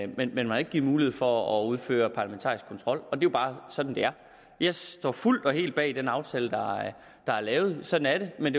men man har ikke givet mulighed for at udføre parlamentarisk kontrol det er jo bare sådan det er jeg står fuldt og helt bag den aftale der er lavet sådan er det men